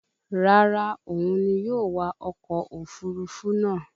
Rárá, òun ni yóò wa ọkọ̀ òfurufú náà